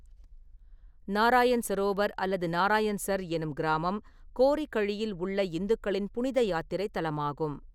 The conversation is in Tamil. நாராயண் சரோவர் அல்லது நாராயண்சர் எனும் கிராமம் கோரி கழியில் உள்ள இந்துக்களின் புனித யாத்திரை தலமாகும்.